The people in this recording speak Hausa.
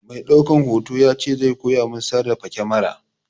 Mai ɗaukan hoto ya ce zai koya min sarrafa kamara.